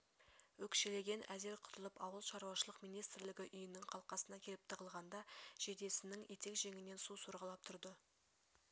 өкшелеген әзер құтылып ауыл шаруашылық министрлігі үйінің қалқасына келіп тығылғанда жейдесініе етек жеңінен су сорғалап тұрды